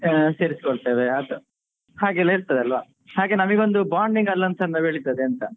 ಸೇರಿಸ್ಕೊಳ್ತೇವೆ ಅದು ಹಾಗೇಲ್ಲಾ ಇರ್ತದಲ್ವಾ ಹಾಗೆ ನಮಿಗೊಂದು bonding ಗೆಲ್ಲ ಒಂದು ಚಂದ ಬೆಳಿತದೆ ಅಂತ.